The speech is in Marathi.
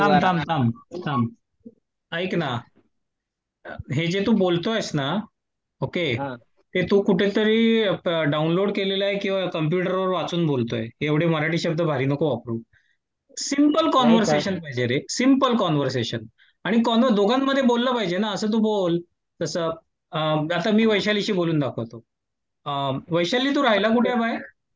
थांब थांब थांब ! ऐक ना हे जे तू बोलतो आहेस ना. ओके, तू कुठेतरी डाउनलोड केलेलं आहे किंवा कुठेतरी कम्प्युटरवर वाचून बोलतोय एवढे मराठी शब्ध भारी नको वापरू. सिम्पल कान्वरसेशन पाहिजे रे दोघांमध्ये बोललं पाहिजे ना असं तू बोल. कस? आता मी वैशाली शी बोलून दाखवतो. वैशाली तू राहायला कुठे आहे बाय?